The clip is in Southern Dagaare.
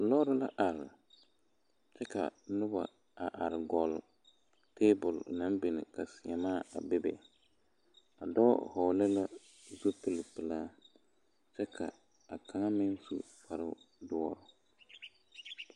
lɔɔre la are kyɛ ka noba a are gɔle tebol naŋ biŋ ka seemaa a bebe a dɔɔ vɔgle la zupili pelaa kyɛ ka a kaŋa meŋ su kpare doɔ.